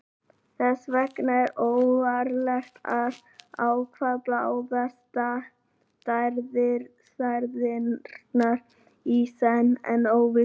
þess vegna er ógerlegt að ákvarða báðar stærðirnar í senn án óvissu